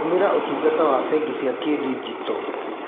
Tũmĩra ũtungata wa bengi cia kĩndigito.